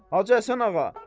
Hacı Həsən ağa.